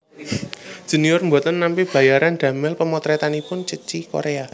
Junior mboten nampi bayaran damel pemotretanipun Ceci Korea